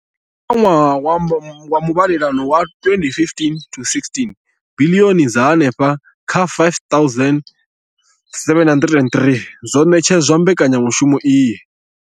Kha ṅwaha wa muvhalelano wa 2015,16, biḽioni dza henefha kha R5 703 dzo ṋetshedzwa mbekanya mushumo iyi.